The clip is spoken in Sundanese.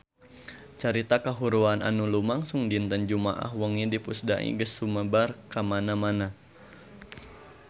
Carita kahuruan anu lumangsung dinten Jumaah wengi di Pusdai geus sumebar kamana-mana